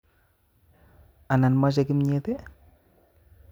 Anan moche kimyet i?